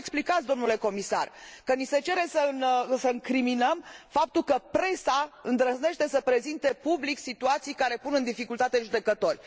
Cum vă explicați, dle Comisar, că ni se cere să incriminăm faptul că presa îndrăznește să prezinte public situații care pun în dificultate judecători?